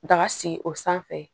Daga sigi o sanfɛ